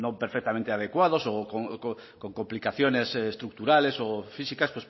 pues no perfectamente adecuados o con complicaciones estructurales o físicas